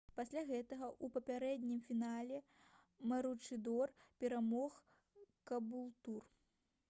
пасля гэтага ў папярэднім фінале маручыдор перамог кабултур